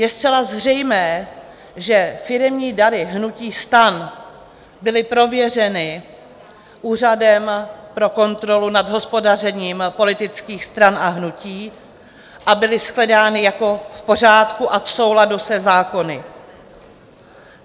Je zcela zřejmé, že firemní dary hnutí STAN byly prověřeny Úřadem pro kontrolu nad hospodařením politických stran a hnutí a byly shledány jako v pořádku a v souladu se zákony.